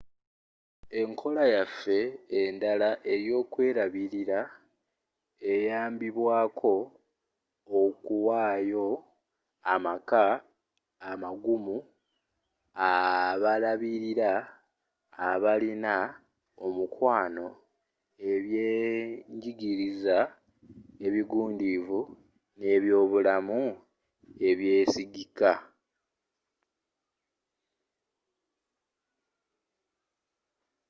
enkola yaffe endala eyokwerabirira eyambibwako okuwayo amaka amagumu abalabirira abalina omukwano ebyenjigiriza ebigundiivu n'ebyobulamu ebyesigika